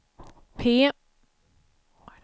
P